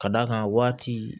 Ka d'a kan waati